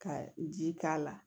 Ka ji k'a la